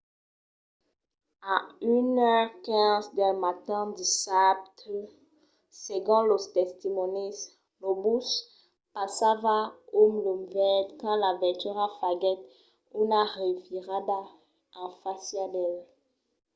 a 1:15 del matin dissabte segon los testimònis lo bus passava un lum verd quand la veitura faguèt una revirada en fàcia d'el